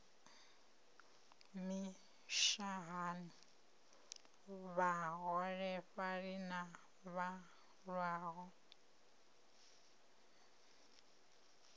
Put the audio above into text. na mishahani vhaholefhali na vhalwaho